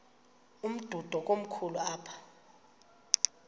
umdudo komkhulu apha